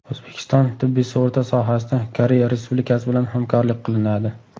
O‘zbekiston tibbiy sug‘urta sohasida Koreya respublikasi bilan hamkorlik qilinadi.